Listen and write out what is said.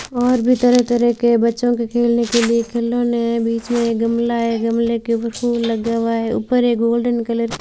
और भी तरह तरह के बच्चों के खेलने के लिए खिलौने हैं बीच में गमला है गमले के ऊपर फूल लगा हुआ है ऊपर एक गोल्डन कलर --